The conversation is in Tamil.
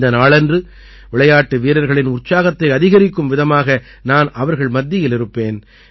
இந்த நாளன்று விளையாட்டு வீரர்களின் உற்சாகத்தை அதிகரிக்கும் விதமாக நான் அவர்கள் மத்தியில் இருப்பேன்